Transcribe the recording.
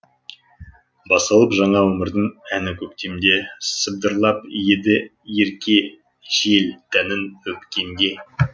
басталып жаңа өмірдің әні көктемде сыбдырлап еді ерке жел тәнін өпкенде